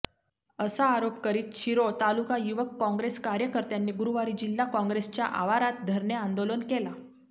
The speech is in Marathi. असा आरोप करीत शिरोळ तालुका युवक काँग्रेस कार्यकर्त्यांनी गुरुवारी जिल्हा काँग्रेसच्या आवारात धरणे आंदोलन केला